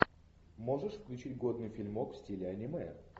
можешь включить годный фильмок в стиле аниме